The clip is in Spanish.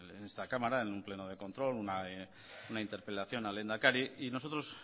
en esta cámara en un pleno de control una interpelación al lehendakari y nosotros